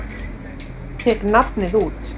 Tek nafnið út.